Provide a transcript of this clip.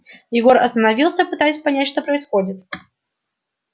егор остановился пытаясь понять что происходит